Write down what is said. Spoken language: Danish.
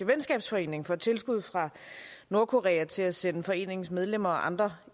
venskabsforening får tilskud fra nordkorea til at sende foreningens medlemmer og andre